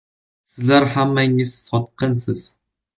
“Sizlar hammangiz sotqinsiz.